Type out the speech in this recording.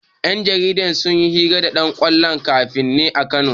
Yan jarida sun yi hira da ɗan ƙwallon ƙafan ne a Kano.